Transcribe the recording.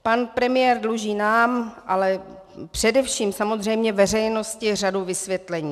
Pan premiér dluží nám, ale především samozřejmě veřejnosti řadu vysvětlení.